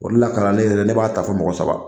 O de la kalanden yɛrɛ ne b'a ta fo mɔgɔ saba